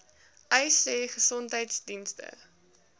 uys sê gesondheidsdienste